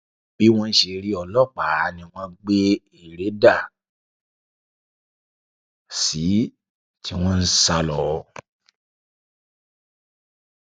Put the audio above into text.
bí wọn ṣe rí ọlọpàá ni wọn gbé ère dà sí i tí wọn ń sá lọ